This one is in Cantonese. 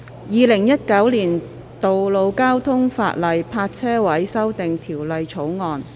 《2019年道路交通法例條例草案》。